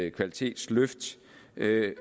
et kvalitetsløft